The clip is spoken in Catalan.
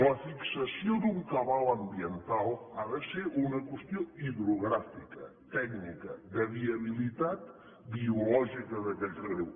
la fixació d’un cabal ambiental ha de ser una qüestió hidrogràfica tècnica de viabilitat biològica d’aquell riu